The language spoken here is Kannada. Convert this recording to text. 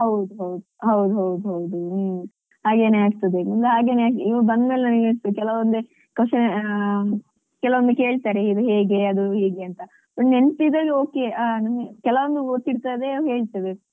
ಹೌದು ಹೌದು ಹೌದು ಹೌದು ಹೌದು ಹ್ಮ್ ಹಾಗೆನೆ ಆಗ್ತದೆ ಹಾಗೆನೆ ಇಲ್ಲಿ ಬಂದ್ಮೇಲೆ ನನಿಗೆ ಹಾಗೆನೆ ಅನಿಸ್ತು ಕೆಲವೊಮ್ಮೆ ಕೆಲವೊಮ್ಮೆ ಕೇಳ್ತಾರೆ ಇದು ಹೇಗೆ ಅದು ಹೇಗೆ ಅಂತ. ನೆನಪಿದ್ರಲ್ಲಿ okay ಕೆಲವೊಮ್ಮೆ ಗೊತ್ತಿರ್ತದೆ ಹೇಳ್ತೇವೆ.